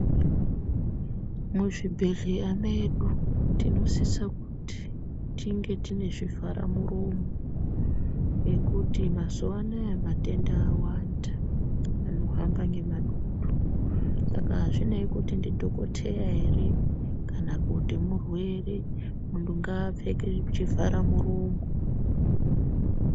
Muzvibhendleya medu tinosisa kuti tinge tine zvivhara muromo ngekuti mazuwa anaya matenda awanda anohamba ngemadutu. Saka hazvinei kuti dhokoteya ere kana kuti murwere. Muntu ngaapfeke chivhara muromo.